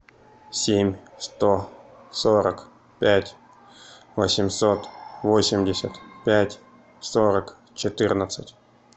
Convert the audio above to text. семь сто сорок пять восемьсот восемьдесят пять сорок четырнадцать